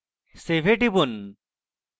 save এ টিপুন